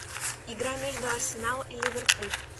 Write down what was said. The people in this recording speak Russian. игра между арсенал и ливерпуль